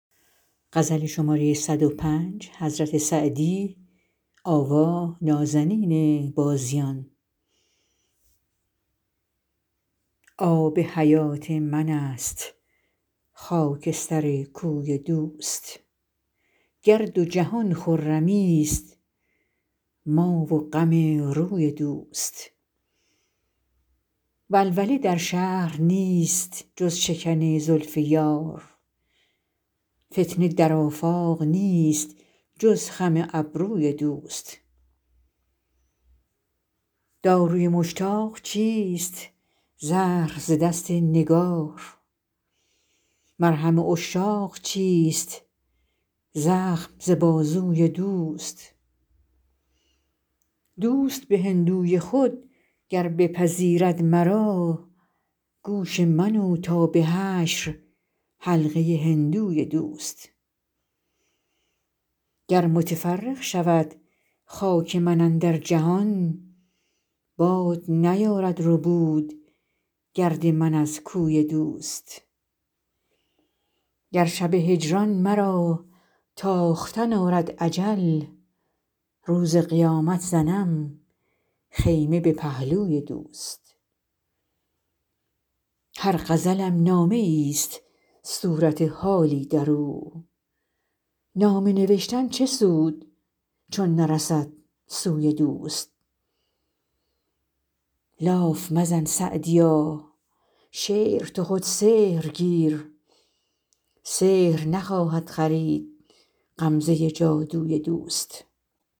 آب حیات من است خاک سر کوی دوست گر دو جهان خرمیست ما و غم روی دوست ولوله در شهر نیست جز شکن زلف یار فتنه در آفاق نیست جز خم ابروی دوست داروی مشتاق چیست زهر ز دست نگار مرهم عشاق چیست زخم ز بازوی دوست دوست به هندوی خود گر بپذیرد مرا گوش من و تا به حشر حلقه هندوی دوست گر متفرق شود خاک من اندر جهان باد نیارد ربود گرد من از کوی دوست گر شب هجران مرا تاختن آرد اجل روز قیامت زنم خیمه به پهلوی دوست هر غزلم نامه ایست صورت حالی در او نامه نوشتن چه سود چون نرسد سوی دوست لاف مزن سعدیا شعر تو خود سحر گیر سحر نخواهد خرید غمزه جادوی دوست